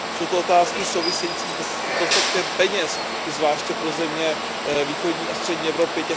Jsou to otázky související s dostatkem peněz, zvláště pro země východní a střední Evropy.